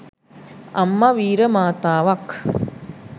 අම්ම වීර මාතාවක්